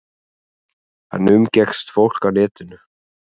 Hann umgekkst fólk á netinu.